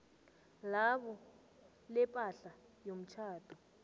labo lepahla yomtjhado